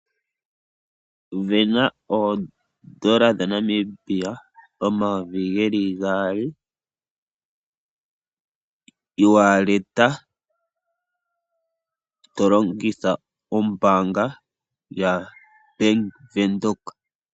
Vena oondola dhaNamibia omayovi geli gaali, iiwaaleta tolongitha ombanga yaVenduka.